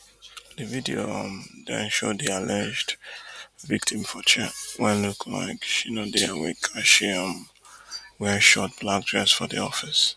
di video um den show di alleged victim for chair wey look like she no dey awake as she um wear short black dress for di office